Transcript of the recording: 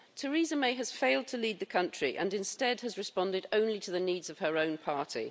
Theresa May has failed to lead the country and instead has responded only to the needs of her own party.